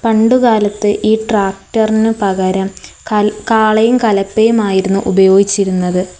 പണ്ടുകാലത്ത് ഈ ട്രാക്ടർന് പകരം കല് കാളയും കലപ്പയും ആയിരുന്നു ഉപയോഗിച്ചിരുന്നത്.